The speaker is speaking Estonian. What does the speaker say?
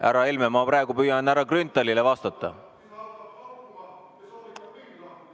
Härra Helme, ma praegu püüan härra Grünthalile vastata.